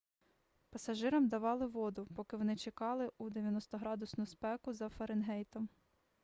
пасажирам давали воду поки вони чекали у 90-градусну спеку за фаренгейтом